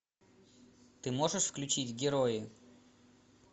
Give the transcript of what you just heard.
ты можешь включить герои